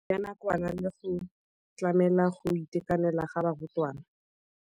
ya nakwana le go tlamela go itekanela ga barutwana.